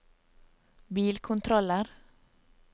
bilkontroller